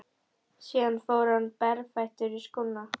Síðan fór hann berfættur í skóna.